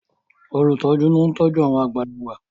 olutọju ní oun tọjú àwọn àgbàlagbà.